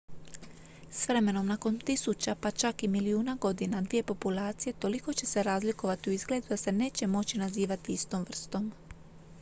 s vremenom nakon tisuća pa čak i milijuna godina dvije populacije toliko će se razlikovati u izgledu da se neće moći nazivati istom vrstom